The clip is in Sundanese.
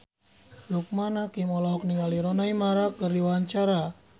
Loekman Hakim olohok ningali Rooney Mara keur diwawancara